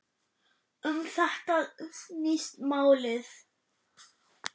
Um þetta snýst málið.